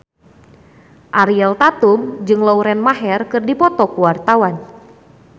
Ariel Tatum jeung Lauren Maher keur dipoto ku wartawan